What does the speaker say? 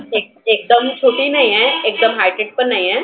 एक एकदम छोटी नाही एकदम highlighted पण नाहीए.